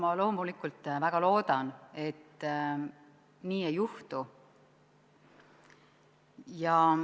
Ma loomulikult väga loodan, et nii ei juhtu.